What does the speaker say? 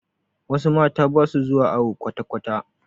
Wasu mata basu zuwa awo kwatakwata